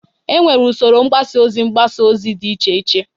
Enwere usoro mgbasa ozi mgbasa ozi dị iche iche